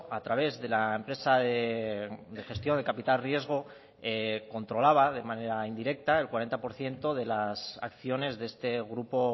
a través de la empresa de gestión de capital riesgo controlaba de manera indirecta el cuarenta por ciento de las acciones de este grupo